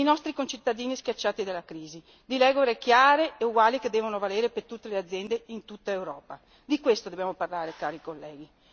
Dei nostri concittadini schiacciati dalla crisi, di regole chiare e uguali che devono valere per tutte le aziende in tutta Europa, di questo dobbiamo parlare, cari colleghi.